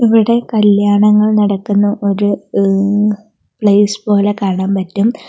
ഇവിടെ കല്യാണങ്ങൾ നടക്കുന്ന ഒരു ഏഹ്‌ പ്ലേസ് പോലെ കാണാൻ പറ്റും.